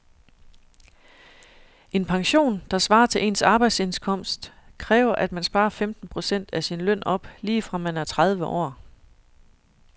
En pension, der svarer til ens arbejdsindkomst, kræver at man sparer femten procent af sin løn op lige fra man er tredive år.